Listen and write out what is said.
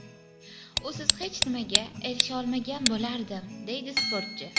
Usiz hech nimaga erisha olmagan bo‘lardim”, deydi sportchi.